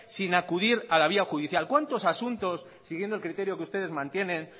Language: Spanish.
sin acudir a la vía judicial cuántos asuntos siguiendo el criterio que ustedes mantienen